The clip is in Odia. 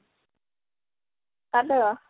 hello